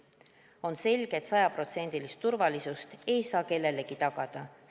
On selge, et sajaprotsendilist turvalisust ei saa kellelegi tagada.